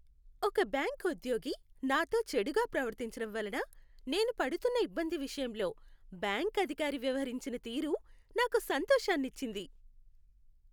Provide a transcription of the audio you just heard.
ఒక బ్యాంకు ఉద్యోగి నాతో చెడుగా ప్రవర్తించడం వలన, నేను పడుతున్న ఇబ్బంది విషయంలో బ్యాంకు అధికారి వ్యవహరించిన తీరు, నాకు సంతోషాన్ని ఇచ్చింది.